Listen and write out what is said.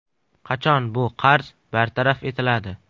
Qachon bu qarz bartaraf etiladi?